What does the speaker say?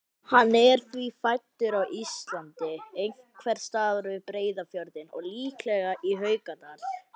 Hann er því fæddur á Íslandi, einhvers staðar við Breiðafjörðinn og líklega í Haukadal.